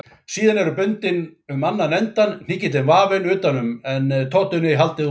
Síðan er bundið um annan endann, hnykillinn vafinn utan um en totunni haldið út úr.